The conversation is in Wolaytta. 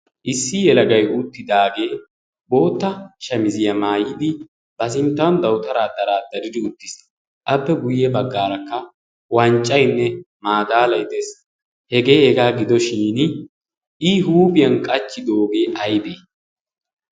issi helagay uuttidaagee bootta shamiziyaa maayidi ba sinttan dawutaraa daraaddaridi uttiisi. appe guyye baggaarakka wanccaynne maadaalay de'ees. hegee hegaa gidoshin i huuphiyan qachchidoogee aybee?